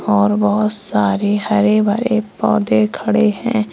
और बहोत सारे हरे भरे पौधे खड़े है।